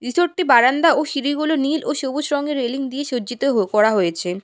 ভিতরটি বারান্দা ও সিঁড়িগুলো নীল ও সবুজ রঙের রেলিং দিয়ে সজ্জিত হো করা হয়েছে।